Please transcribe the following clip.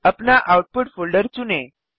अपना output folder चुनें